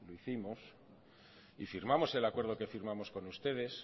dijimos y firmamos el acuerdo que firmamos con ustedes